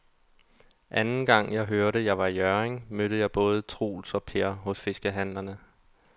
Anden gang jeg var i Hjørring, mødte jeg både Troels og Per hos fiskehandlerne.